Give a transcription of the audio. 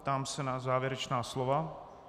Ptám se na závěrečná slova.